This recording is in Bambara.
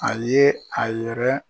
A ye a yɛrɛ.